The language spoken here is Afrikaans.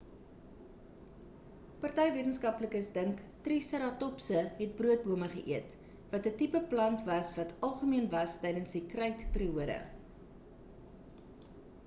party wetenskaplikes dink triseratopse het broodbome geëet wat 'n tipe plant was wat algemeen was tydens die krytperiode